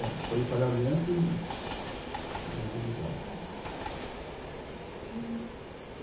É, folha de pagamento e imobilizado, aham. E